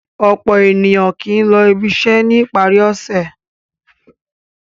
Ọ̀pọ̀ ènìyàn kì í lọ ibiṣẹ́ ní ìparí ọ̀sẹ̀.